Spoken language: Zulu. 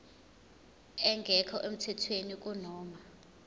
engekho emthethweni kunoma